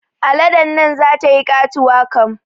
Aladen nan zata yi katuwa kam